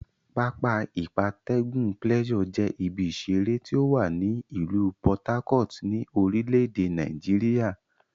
Pápá ìgbatẹ́gùn Pleasure je ibi isere ti owa ni ilu Por Harcourt, ni orile ede Nigeria.